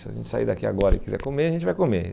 Se a gente sair daqui agora e quiser comer, a gente vai comer.